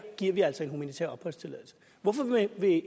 giver vi altså en humanitær opholdstilladelse hvorfor vil